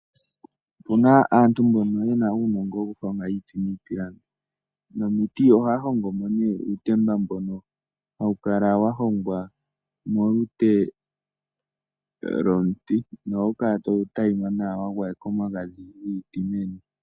Opuna aantu mbono yena uunongo wokuhonga iiti niipilangi. Momiti ohaya hongomo uutemba mbono hawu kala wahongwa molute lwomuti ohawu kala tawu tayima wagwayekwa omagadhi giiti meni.